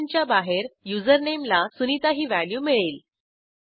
फंक्शनच्या बाहेर युझरनेम ला सुनिता ही व्हॅल्यू मिळेल